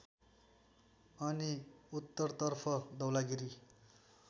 अनि उत्तरतर्फ धौलागिरि